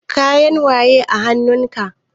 Kayan waye a hanun ka?